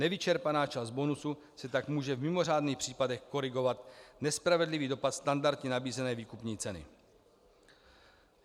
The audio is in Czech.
Nevyčerpaná část bonusu se tak může v mimořádných případech korigovat nespravedlivý dopad standardně nabízené výkupní ceny.